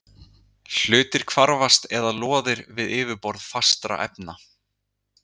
Hluti hvarfast eða loðir við yfirborð fastra efna.